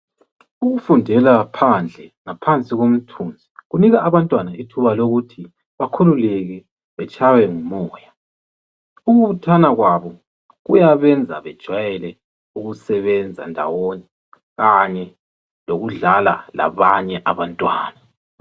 Ukufundela phandle ngaphansi komthunzi kunika abantwana ithuba lokuthi bakhululeke betshaywe ngumoya , ukubuthana kwabo kuyabenza bajwayele ukusebenza ndawonye kanye lokudlala labanye abantwana.